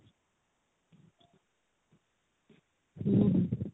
ହୁଁ ହୁଁ